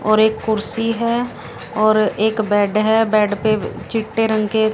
और एक कुर्सी है और एक बेड है बेड पे चिट्टे रंग के--